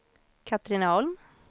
Katrineholm